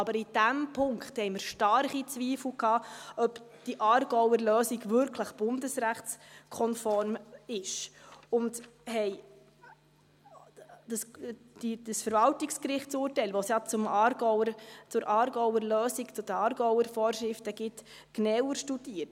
Aber in dem Punkt hatten wir starke Zweifel, ob die Aargauer Lösung wirklich bundesrechtskonform ist, und haben dieses Verwaltungsgerichtsurteil, das es ja zur Aargauer Lösung, zu den Aargauer Vorschriften, gibt, genauer studiert.